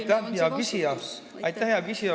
Aitäh, hea küsija!